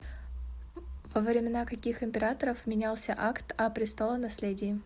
во времена каких императоров менялся акт о престолонаследии